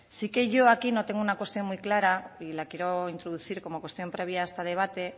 sí que yo aquí no tengo una cuestión muy clara y la quiero introducir como cuestión previa a este debate